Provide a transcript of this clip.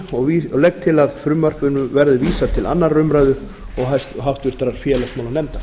og legg til að frumvarpinu verði vísað til annarrar umræðu og háttvirtur félagsmálanefndar